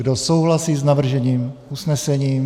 Kdo souhlasí s navrženým usnesením?